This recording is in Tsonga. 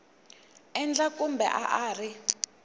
endla kumbe a a ri